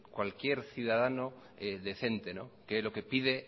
cualquier ciudadano decente que lo que pide